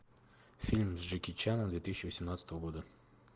фильм с джеки чаном две тысячи восемнадцатого года